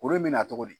Kuru in bɛ na cogo di